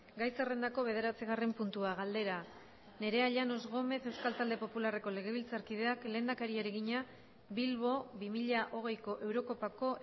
gai zerrendako bederatzigarren puntua galdera nerea llanos gómez euskal talde popularreko legebiltzarkideak lehendakariari egina bilbo bi mila hogeiko eurokopako